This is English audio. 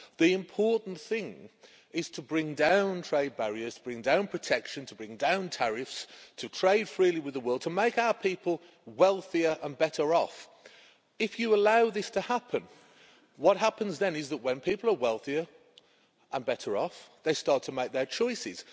The important thing is to bring down trade barriers, to bring down protection, to bring down tariffs, to trade freely with the world, to make our people wealthier and better off. If you allow this to happen, what happens then is that, when people are wealthier and better off, they start to make their choices.